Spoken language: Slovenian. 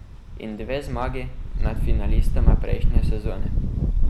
In dve zmagi nad finalistoma prejšnje sezone.